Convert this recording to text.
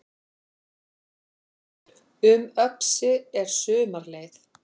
Um Öxi er sumarleið